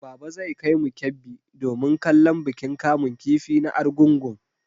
Baba zai kaimu Kebbi domin kallon bikin kamun kifi na Argungun.